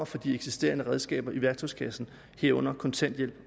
fra de eksisterende redskaber i værktøjskassen herunder kontanthjælp